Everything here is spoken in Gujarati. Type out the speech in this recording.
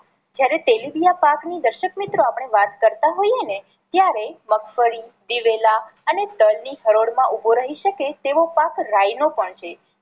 જ્યારે તેલીબિયાં પાક ની દર્શક મિત્રો આપણે વાત કરતાં હોઈએ ને ત્યારે મગફળી, દિવેલા અને તલ ની હરોળ માં ઊભો રહી શકે તેવો પાક રાઈ નો પણ છે.